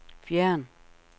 fjern